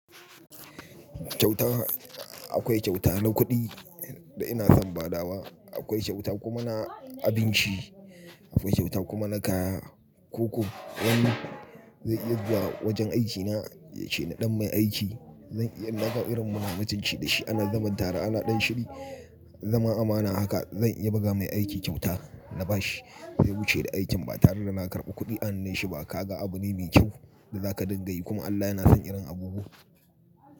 Kyauta, akwai kyauta na kuɗi da ina son badawa, akwai kyauta kuma na abinci, akwai kyauta kuma na kaya. Ko-ko wani zai iya zuwa wajen aikina yace na ɗan mai aiki. Zan iya na ga irin muna mutunci da shi ana zaman tare ana ɗan shiri, zama amana. Haka zan iya buga mai aiki kyauta na bashi sai ya wuce da aikin. Ba tare da na karɓi kuɗi a nuna shi ba ka ga abu ne mai kyau da za ka dinga yi. Kuma Allah yana son irin abubuwa.